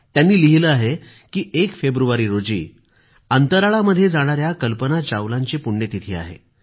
त्यांनी लिहिलं आहे की 1 फेब्रुवारी रोजी अंतराळामध्ये जाणाऱ्या कल्पना चावलाची पुण्यतिथी आहे